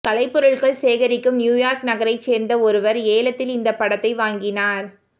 கலைப் பொருள்கள் சேகரிக்கும் நியூயார்க் நகரைச் சேர்ந்த ஒருவர் ஏலத்தில் இந்தப் படத்தை வாங்கினார்